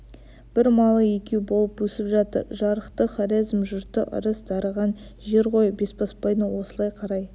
бір малы екеу болып өсіп жатыр жарықтық хорезм жұрты ырыс дарыған жер ғой бесбасбайдың осылай қарай